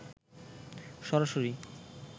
সরাসরি